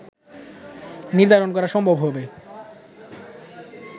নির্ধারণ করা সম্ভব হবে